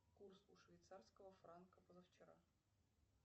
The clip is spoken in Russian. курс у швейцарского франка позавчера